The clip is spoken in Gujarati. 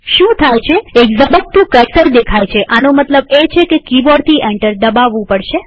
શું થાય છેએક ઝબકતું કર્સર દેખાય છેઆનો મતલબ એ છે કે કિબોર્ડથી એન્ટર દબાવવું પડશે